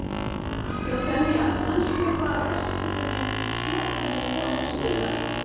Eufemía, manstu hvað verslunin hét sem við fórum í á sunnudaginn?